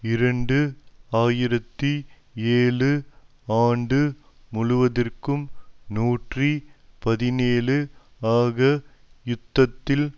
இரண்டு ஆயிரத்தி ஏழு ஆண்டு முழுவதிற்கும் நூற்றி பதினேழு ஆக யுத்தத்தில்